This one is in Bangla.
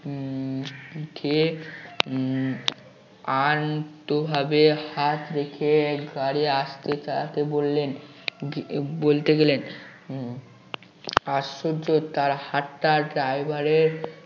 পিঠে উম আলতো ভাবে হাত রেখে গাড়ি আস্তে চালাতে বললেন উম বলতে গেলেন আশ্চর্য তার হাতটা driver এর